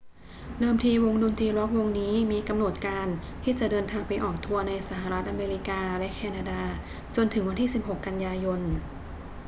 เดิมทีวงดนตรีร็อกวงนี้มีกำหนดการที่จะเดินทางไปออกทัวร์ในสหรัฐอเมริกาและแคนาดาจนถึงวันที่ 16 กันยายน